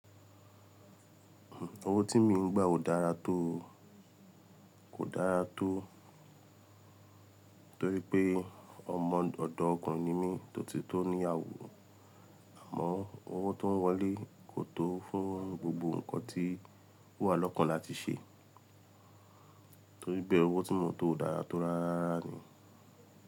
Owo tí mi ń gba kò dára tó, kò dára tó torí pé ọmọ ọ̀dọ́ ọkùnrin ni mí tó ti tó ní iyàwo. Àmọ́ owó tó ń wọlé kò tó fún gbogbo ǹkan tí owà lọ́kàn láti ṣe torí bẹ́ẹ̀ owó tí mo ń to odára tó rá rárá ni.